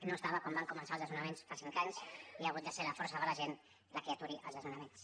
no ho estava quan van començar els desnonaments fa cinc anys i ha hagut de ser la força de la gent la que aturi els desnonaments